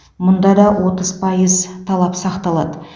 мұнда да отыз пайыз талап сақталады